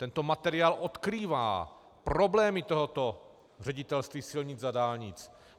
Tento materiál odkrývá problémy tohoto Ředitelství silnic a dálnic.